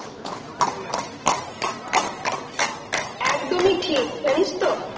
একদমি ঠিক, জানিস তো-